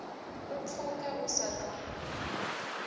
u pfuke u sa ḓo